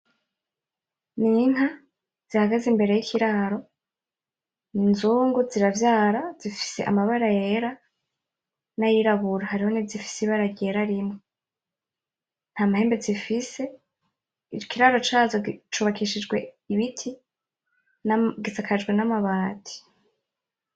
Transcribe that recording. Ni inka zihagaze imbere y'ikiraro n'inzungu ziravyara zifise amabara yera nay'irabura hariho nizifise ibara ryera rimwe, nta mahembe zifise ikiraro cazo cubakishijwe ibiti gisakajwe n'amabati.